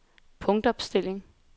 punktopstilling